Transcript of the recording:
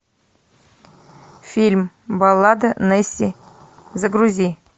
фильм баллада несси загрузи